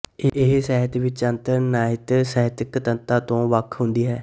ਇਹ ਸਾਹਿਤ ਵਿੱਚ ਅੰਤਰ ਨਹਿਤ ਸਾਹਿਤਕ ਤੱਤਾਂ ਤੋਂ ਵੱਖ ਹੁੰਦੀ ਹੈ